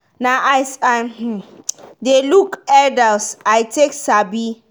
na as i um de look elders i take sabi.